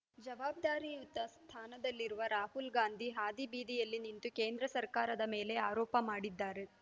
ಜವಾಬ್ದಾರಿಯುತ ಸ್ಥಾನದಲ್ಲಿರುವ ರಾಹುಲ್‌ಗಾಂಧಿ ಹಾದಿಬೀದಿಯಲ್ಲಿ ನಿಂತು ಕೇಂದ್ರ ಸರ್ಕಾರದ ಮೇಲೆ ಆರೋಪ ಮಾಡಿದ್ದಾರೆ